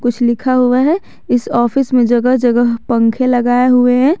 कुछ लिखा हुआ है इस ऑफिस में जगह-जगह पंखे लगाए हुए हैं।